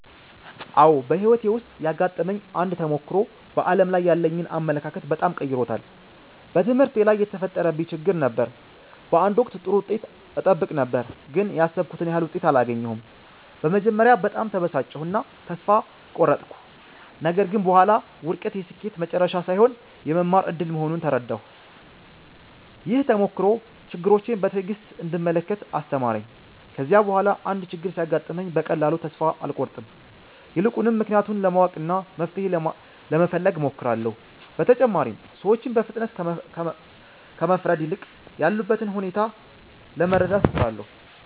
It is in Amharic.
አዎ፣ በሕይወቴ ውስጥ ያጋጠመኝ አንድ ተሞክሮ በዓለም ላይ ያለኝን አመለካከት በጣም ቀይሮታል። በትምህርቴ ላይ የተፈጠረብኝ ችግር ነበር። በአንድ ወቅት ጥሩ ውጤት እጠብቅ ነበር፣ ግን ያሰብኩትን ያህል ውጤት አላገኘሁም። በመጀመሪያ በጣም ተበሳጨሁ እና ተስፋ ቆረጥኩ። ነገር ግን በኋላ ውድቀት የስኬት መጨረሻ ሳይሆን የመማር እድል መሆኑን ተረዳሁ። ይህ ተሞክሮ ችግሮችን በትዕግሥት እንድመለከት አስተማረኝ። ከዚያ በኋላ አንድ ችግር ሲያጋጥመኝ በቀላሉ ተስፋ አልቆርጥም። ይልቁንም ምክንያቱን ለማወቅና መፍትሔ ለመፈለግ እሞክራለሁ። በተጨማሪም ሰዎችን በፍጥነት ከመፍረድ ይልቅ ያሉበትን ሁኔታ ለመረዳት እጥራለሁ።